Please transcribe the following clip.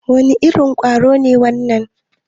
Wane irin ƙwaro ne wannan?